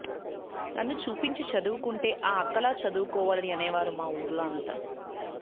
నన్ను చూపించి చదువుకుంటే ఆ అక్కలా చదువుకోవాలని అనేవారు మా వూర్లో అంతా